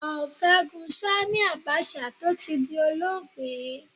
Ọ̀gágun Sanni Abacha, tó ti di olóògbé.